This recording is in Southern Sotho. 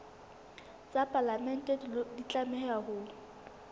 tsa palamente di tlameha ho